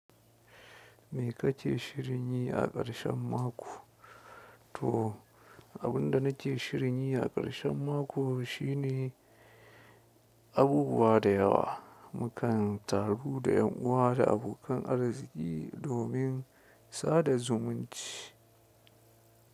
Me ka ke shirin yi a ƙarshen mako? To, abin da na ce shirin yi a ƙarshen mako shine abubuwa da yawa. Mukan taru da ƴan uwa da abokan arziki domin sada zumunci.